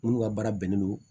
Minnu ka baara bɛnnen don